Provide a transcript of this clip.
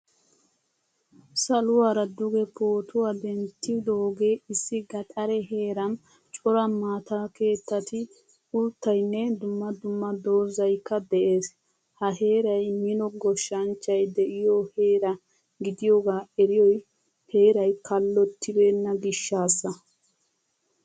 Saluwaara duge pootuwaa denttidoge issi gaxare heeran cora maataakeettati, uuttaynne dumma dumma doozaykka de'ees. Ha heeray mino goshshanchchay de'iyo heera gidiyoga eriyoy heeray kallottibena gishshasa.